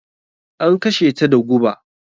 An kashe ta da guba.